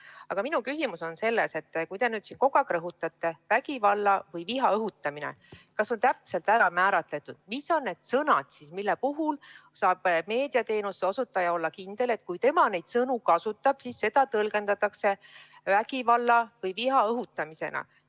Aga minu küsimus on selle kohta, et kui te siin kogu aeg rõhutate vägivalla või viha õhutamist, siis kas on täpselt kindlaks määratud, mis on need sõnad, mille puhul saab meediateenuse osutaja olla kindel, et kui ta neid sõnu kasutab, siis seda tõlgendatakse vägivalla või viha õhutamisena.